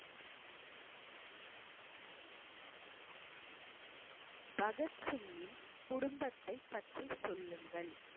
பகத்சிங்கின் குடும்பத்த பற்றி சொல்லுங்கள்